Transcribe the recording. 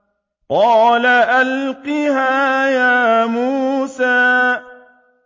قَالَ أَلْقِهَا يَا مُوسَىٰ